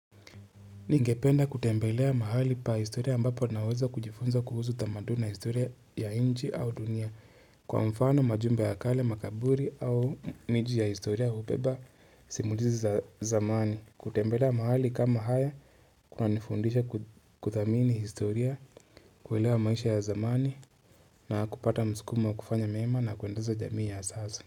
Ningependa kutembelea mahali pa historia ambapo naweza kujifunza kuhusu tamaduna historia ya inji au dunia kwa mfano majumbe ya kale, makaburi au miji ya historia hupeba simulizi za zamani. Kutembelea mahali kama haya kuna nifundisha kuthamini historia, kuwelewa maisha ya zamani na kupata mskumo wa kufanya mema na kuendaza jamii ya asazo.